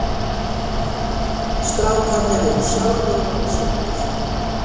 Strákarnir eru sjálfir vonsviknir